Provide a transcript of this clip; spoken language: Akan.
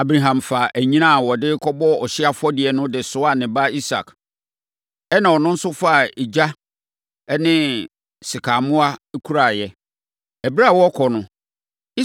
Abraham faa anyina a wɔde rekɔbɔ ɔhyeɛ afɔdeɛ no de soaa ne ba Isak. Ɛnna ɔno nso faa egya ne sekammoa kuraeɛ. Ɛberɛ a wɔrekɔ no,